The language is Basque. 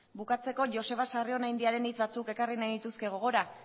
bukatzeko joseba sarrionaindiaren hitz batzuk ekarri nahiko nituzke gogora